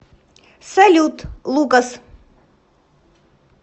салют лукас